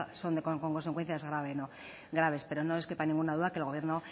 son con consecuencias graves pero no les quepa ninguna duda que el gobierno